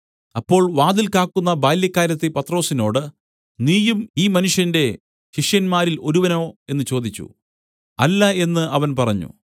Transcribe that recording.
അപ്പോൾ വാതിൽ കാക്കുന്ന ബാല്യക്കാരത്തി പത്രൊസിനോട് നീയും ഈ മനുഷ്യന്റെ ശിഷ്യന്മാരിൽ ഒരുവനോ എന്നു ചോദിച്ചു അല്ല എന്നു അവൻ പറഞ്ഞു